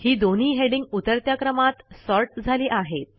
ही दोन्ही हेडिंग उतरत्या क्रमात सॉर्ट झाली आहेत